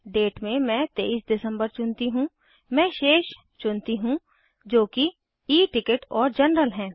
date में मैं 23 दिसंबर चुनती हूँ मैं शेष चुनती हूँ जो कि E टिकट और जनरल हैं